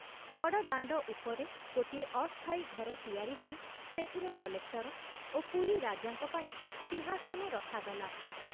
ବଡ଼ଦାଣ୍ଡ ଉପରେ ଗୋଟିଏ ଅସ୍ଥାୟୀ ଘର ତିଆରି ହୋଇ ସେଥିରେ କଲେକ୍ଟର ଓ ପୁରୀ ରାଜାଙ୍କ ପାଇଁ ସିଂହାସନ ରଖାଗଲା।